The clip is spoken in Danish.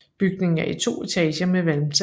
Bygningen er i to etager med valmtag